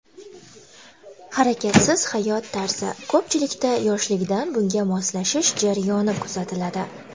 Harakatsiz hayot tarzi Ko‘pchilikda yoshligidan bunga moslashish jarayoni kuzatiladi.